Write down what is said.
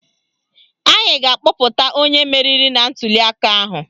Anyị ga-akpọpụta onye meriri na ntuliaka ahụ